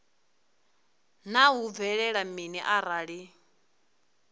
naa hu bvelela mini arali